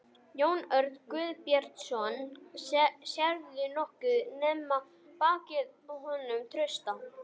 Jón Örn Guðbjartsson: Sérðu nokkuð nema bakið á honum Trausta?